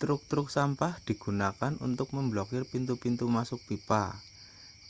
truk-truk sampah digunakan untuk memblokir pintu-pintu masuk pipa